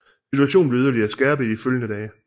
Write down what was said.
Situationen blev yderligere skærpet i de følgende dage